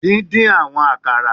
Din-din awọn akara